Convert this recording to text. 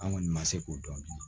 An kɔni ma se k'o dɔn bilen